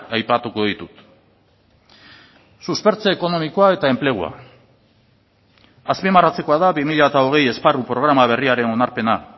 aipatuko ditut suspertze ekonomikoa eta enplegua azpimarratzekoa da bi mila hogei esparru programa berriaren onarpena